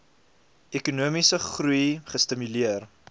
ekonomiese groei gestimuleer